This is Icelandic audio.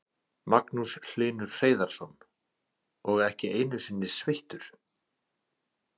Magnús Hlynur Hreiðarsson: Og ekki einu sinni sveittur?